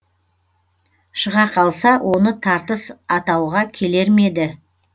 шыға қалса оны тартыс атауға келер ме еді